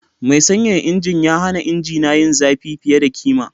Mai sanyaya injin ya hana injina yin zafi fiye da kima.